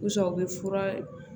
U sa u bɛ fura